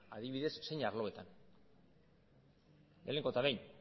adibidez zein arlotan lehenengo eta behin